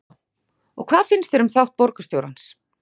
Eva: Og hvað finnst þér um þátt borgarstjórans?